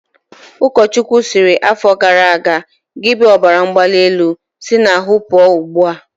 Ụkọchukwu sịrị afọ gara aga"Gị bụ ọbaramgbalịelu, si n'ahụ pụọ ugbua!